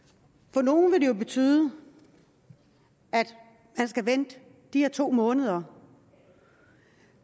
for nogle vil det jo betyde at man skal vente de her to måneder